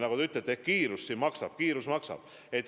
Nagu te ütlete, et kiirus maksab.